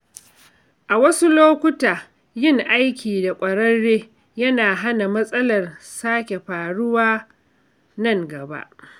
A wasu lokuta, yin aiki da ƙwararre yana hana matsalar sake faruwa nan gaba.